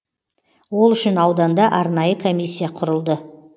ол үшін ауданда арнайы комиссия құрылды